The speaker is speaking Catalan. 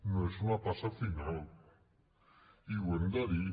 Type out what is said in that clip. no és una passa final i ho hem de dir